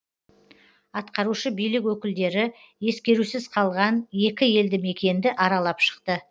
атқарушы билік өкілдері ескерусіз қалған екі елді мекенді аралап шықты